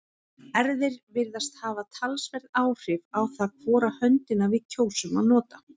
erfðir virðast hafa talsverð áhrif á það hvora höndina við kjósum að nota